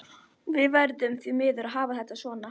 Við verðum því miður að hafa þetta svona.